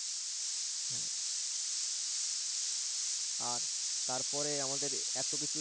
হ্যা আর তারপরে আমাদের এত কিছু